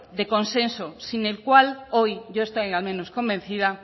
de consenso sin el cual hoy yo estoy al menos convencida